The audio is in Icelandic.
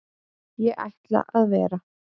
Ég ætla að vera.